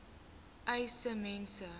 uys sê mense